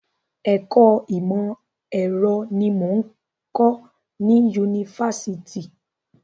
Ẹ̀kọ́ ìmọ̀ ẹ̀rọ ni mò ń kọ ní Yunifásitì.